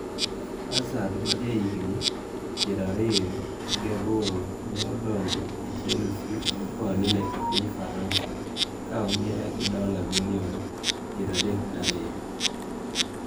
Hazard, ma jahigini pier ariyo gi aboro, ne odonjo e Chelsea koa Lille e piny Faransa ka ong`iewe gi dola' milion pier adek gi ariyo.